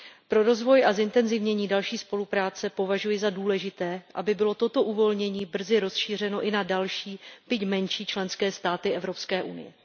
Pro rozvoj a zintenzivnění další spolupráce považuji za důležité, aby bylo toto uvolnění brzo rozšířeno i na další, byť menší členské státy Evropské unie.